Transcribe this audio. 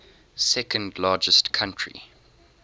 second largest country